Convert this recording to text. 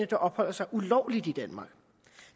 der opholder sig ulovligt i danmark